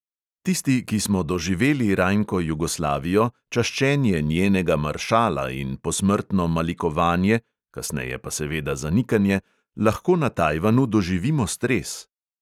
Tisti, ki smo doživeli rajnko jugoslavijo, čaščenje njenega maršala in posmrtno malikovanje (kasneje pa seveda zanikanje), lahko na tajvanu doživimo stres.